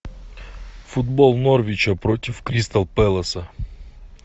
футбол норвича против кристал пэласа